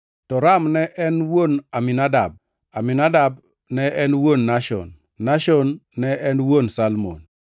to Ram ne en wuon Aminadab. Aminadab ne en wuon Nashon, Nashon ne en wuon Salmon,